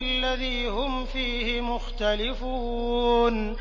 الَّذِي هُمْ فِيهِ مُخْتَلِفُونَ